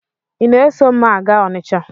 Ị na-eso m a gaa Ọnịcha?